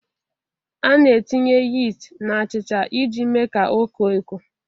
A na-etinye yist na achịcha iji mee ka ọ koo eko